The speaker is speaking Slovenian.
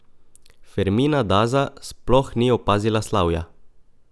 Fermina Daza sploh ni opazila slavja.